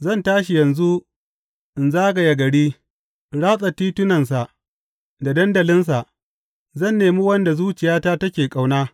Zan tashi yanzu in zagaya gari, in ratsa titunansa da dandalinsa; zan nemi wanda zuciyata take ƙauna.